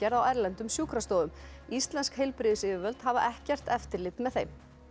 á erlendum sjúkrastofum íslensk heilbrigðisyfirvöld hafa ekkert eftirlit með þeim